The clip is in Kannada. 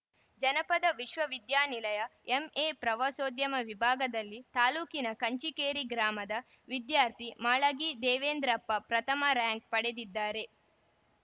ಜನಪದ ವಿಶ್ವವಿದ್ಯಾನಿಲಯ ಎಂಎ ಪ್ರವಾಸೋದ್ಯಮ ವಿಭಾಗದಲ್ಲಿ ತಾಲೂಕಿನ ಕಂಚಿಕೇರಿ ಗ್ರಾಮದ ವಿದ್ಯಾರ್ಥಿ ಮಾಳಗಿ ದೇವೇಂದ್ರಪ್ಪ ಪ್ರಥಮ ರಾಂಕ್‌ ಪಡೆದಿದ್ದಾರೆ